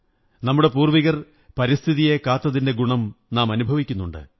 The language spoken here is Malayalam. നമ്മുടെ പൂര്വ്വി കർ പരിസ്ഥിതിയെ കാത്തതിന്റെ ഗുണം നാം അനുഭവിക്കുന്നുണ്ട്